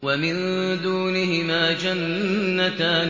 وَمِن دُونِهِمَا جَنَّتَانِ